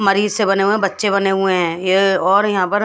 मरीज से बने हुए बच्चे बने हुए हैं ये और यहां पर--